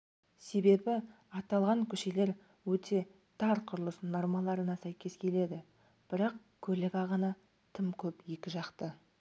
себебі аталған көшелер өте тар құрылыс нормаларына сәйкес келеді бірақ көлік ағыны тым көп екіжақты